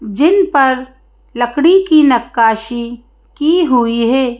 जिन पर लकड़ी की नक्काशी की हुई है।